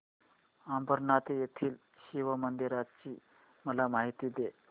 अंबरनाथ येथील शिवमंदिराची मला माहिती दे